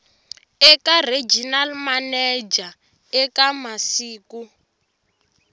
eka regional manager eka masiku